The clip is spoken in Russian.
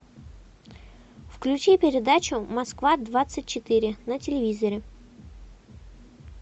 включи передачу москва двадцать четыре на телевизоре